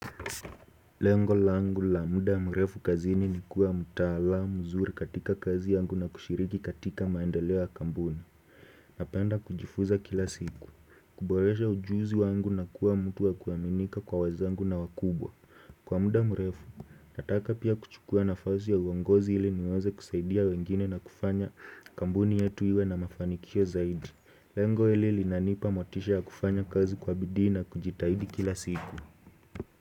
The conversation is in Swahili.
Lengo langu la muda mrefu kazini ni kuwa mtaalamu mzuri katika kazi yangu na kushiriki katika maendeleo ya kampuni Napenda kujifunza kila siku, kuboresha ujuzi wangu na kuwa mtu wa kuaminika kwa wazeangu na wakubwa Kwa muda mrefu, nataka pia kuchukua nafasi ya uongozi ili niweze kusaidia wengine na kufanya kampuni yetu iwe na mafanikio zaidi Lengo hili linanipa motisha ya kufanya kazi kwa bidii na kujitahidi kila siku.